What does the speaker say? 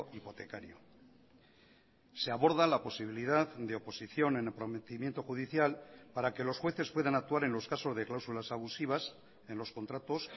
hipotecario se aborda la posibilidad de oposición en el prometimiento judicial para que los jueces puedan actuar en los casos de cláusulas abusivas en los contratos